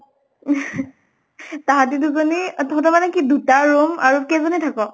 তাহাঁতে দুজনী তহঁতৰ মানে কি দুটা room আৰু কেইজনে থাকʼ?